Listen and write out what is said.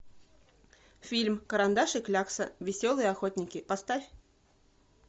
фильм карандаш и клякса веселые охотники поставь